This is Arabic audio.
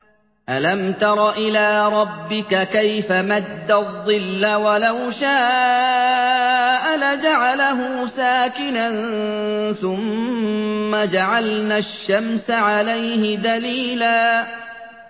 أَلَمْ تَرَ إِلَىٰ رَبِّكَ كَيْفَ مَدَّ الظِّلَّ وَلَوْ شَاءَ لَجَعَلَهُ سَاكِنًا ثُمَّ جَعَلْنَا الشَّمْسَ عَلَيْهِ دَلِيلًا